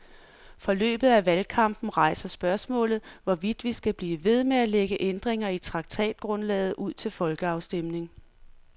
Forløbet af valgkampen rejser spørgsmålet, hvorvidt vi skal blive ved med at lægge ændringer i traktatgrundlaget ud til folkeafstemning.